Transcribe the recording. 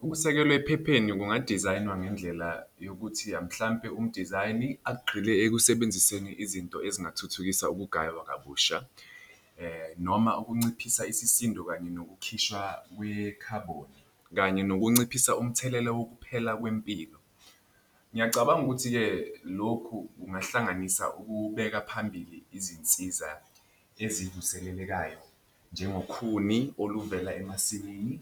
Ukusekelwa ephepheni kungadizayinwa ngendlela yokuthi mhlampe umdizayini agxile ekusebenziseni izinto ezingathuthukisa ukugaywa kwabusha noma ukunciphisa isisindo kanye nokukhishwa kwe-carbon, kanye nokunciphisa umthelela wokuphela kwempilo. Ngiyacabanga ukuthi-ke lokhu kungahlanganisa ukubeka phambili izinsiza ezivuselelekayo njengokhuni oluvela emasimini,